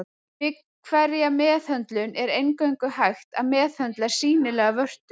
Við hverja meðhöndlun er eingöngu hægt að meðhöndla sýnilegar vörtur.